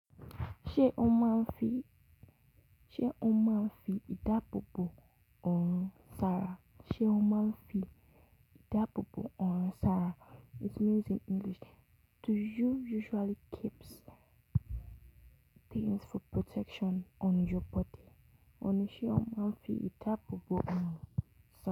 Ṣe o maa ń fi idaabo bo oorun sára? Se o maa ń fi idaabo bo oorun sára? It means in English: Do you usually keeps things for protection on your body? Òhun ni ṣe o máa ń fi idaabo bo oorun sára?